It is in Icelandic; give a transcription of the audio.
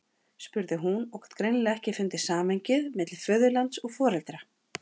spurði hún og gat greinilega ekki fundið samhengið milli föðurlands og foreldra.